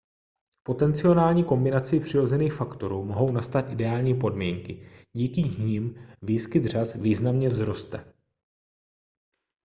potenciální kombinací přirozených faktorů mohou nastat ideální podmínky díky nimž výskyt řas významně vzroste